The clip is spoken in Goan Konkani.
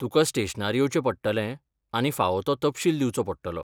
तुका स्टेशनार येवचें पडटलें आनी फावो तो तपशील दिवचो पडटलो.